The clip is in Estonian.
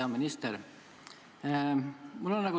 Hea minister!